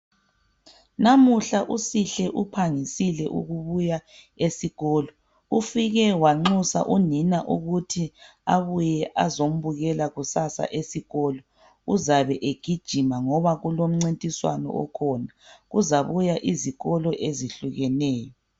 Namuhla uSihle uphangisile ukubuya esikolo. Ufike wanxusa unina ukuthi abuye azombukela kusasa esikolo, uzabe egijima ngoba kulomncintiswano okhona. Kuzabuya izikolo ezihlukeneyo.